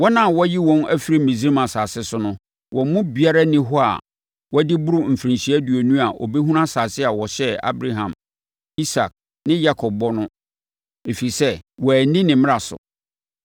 wɔn a wɔayi wɔn afiri Misraim asase so no, wɔn mu biara nni hɔ a wadi boro mfirinhyia aduonu a ɔbɛhunu asase a ɔhyɛɛ Abraham, Isak ne Yakob ho bɔ no, ɛfiri sɛ, wɔanni ne mmara so.